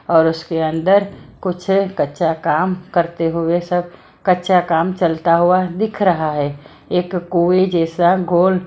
और उसके अंदर कुछ कच्चा काम करते हुए सब कच्चा काम चलता हुआ दिख रहा है एक कोए जैसा गोल--